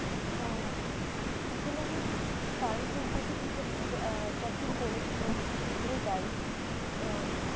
আহ আসলে আমি কারো সম্পর্কে সেই সব সেই গুলো দায়ী আহ